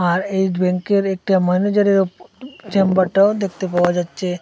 আর eight ব্যাংকের একটা ম্যানেজারের ওপ চেম্বারটাও দেখতে পাওয়া যাচ্ছে।